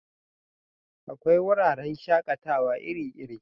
Akwai wuraren shakatawa iri iri